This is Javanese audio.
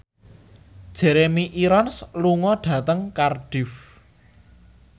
Jeremy Irons lunga dhateng Cardiff